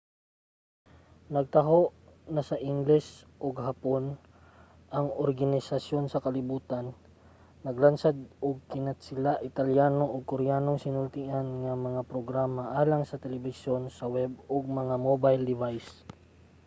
nagtaho na sa ingles ug hapon ang organisasyon sa kalibutan naglansad og kinatsila italyano ug koreanong sinultian nga mga programa alang sa telebisyon sa web ug mga mobile device